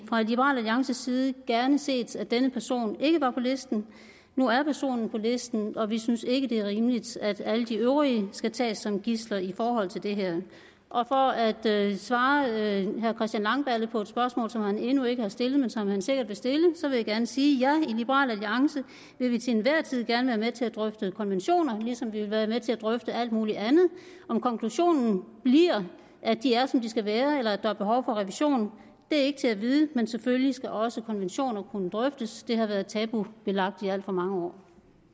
liberal alliances side gerne set at denne person ikke var på listen nu er personen på listen og vi synes ikke det er rimeligt at alle de øvrige skal tages som gidsler i forhold til det her for at svare herre christian langballe på et spørgsmål som han endnu ikke har stillet men som han sikkert vil stille vil jeg gerne sige ja i liberal alliance vil vi til enhver tid gerne være med til at drøfte konventioner ligesom vi vil være med til at drøfte alt muligt andet om konklusionen bliver at de er som de skal være eller at der er behov for revision er ikke til at vide men selvfølgelig skal også konventioner kunne drøftes det har været tabubelagt i alt for mange år